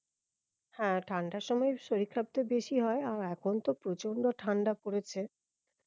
হ্যাঁ ঠান্ডার সময় শরীর খারাপটা বেশি হয়ে আর এখন তো প্রচন্ড ঠান্ডা পড়েছে